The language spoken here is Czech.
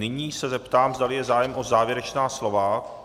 Nyní se zeptám, zdali je zájem o závěrečná slova.